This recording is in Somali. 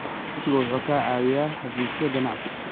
Aqoonsigu waxa uu ka caawiyaa xafiisyo ganacsi.